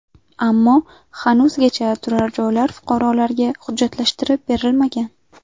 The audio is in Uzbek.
Ammo hanuzgacha turarjoylar fuqarolarga hujjatlashtirib berilmagan.